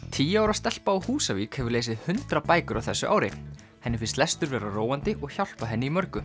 tíu ára stelpa á Húsavík hefur lesið hundrað bækur á þessu ári henni finnst lestur vera róandi og hjálpa henni í mörgu